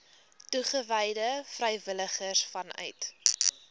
toegewyde vrywilligers vanuit